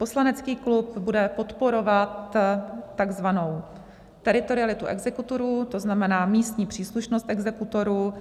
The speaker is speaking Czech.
Poslanecký klub bude podporovat takzvanou teritorialitu exekutorů, to znamená místní příslušnost exekutorů,